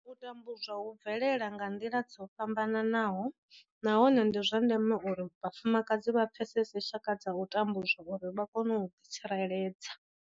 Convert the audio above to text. U tambudzwa hu bvelela nga nḓila dzo fhambanaho nahone ndi zwa ndeme uri vhafumakadzi vha pfesese tshaka dza u tambudzwa uri vha kone u ḓitsireledza.